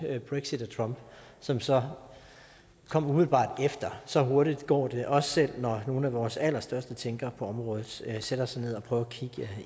brexit og trump som så kom umiddelbart efter så hurtigt går det også selv når nogle af vores allerstørste tænkere på området sætter sig ned og prøver at kigge